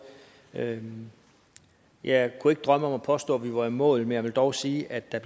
jeg jeg kunne ikke drømme om at påstå at vi var i mål men jeg vil dog sige at der